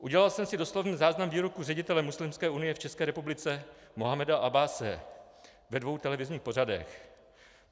Udělal jsem si doslovný záznam výroku ředitele Muslimské unie v České republice Mohameda Abbase ve dvou televizních pořadech.